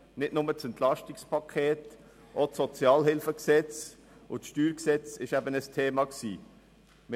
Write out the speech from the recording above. Nicht nur das Entlastungspaket (EP), sondern auch das Gesetz über die öffentliche Sozialhilfe (Sozialhilfegesetz, SHG) und das StG waren Themen.